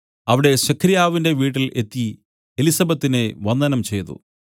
അവിടെ സെഖര്യാവിന്റെ വീട്ടിൽ എത്തി എലിസബെത്തിനെ വന്ദനം ചെയ്തു